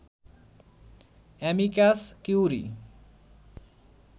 amicus curiae